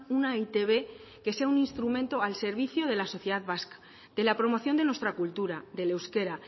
una e i te be que sea un instrumento al servicio de la sociedad vasca de la promoción de nuestra cultura del euskera